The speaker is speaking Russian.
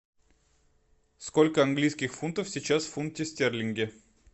сколько английских фунтов сейчас в фунте стерлинге